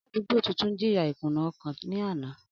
Aladugbo tuntun jiya ikuna ọkan ni ana.